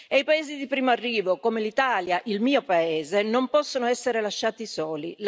E i paesi di primo arrivo, come l'Italia, il mio paese, non possono essere lasciati soli.